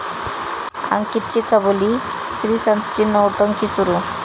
अंकितची कबुली, श्रीसंतची 'नौटंकी' सुरू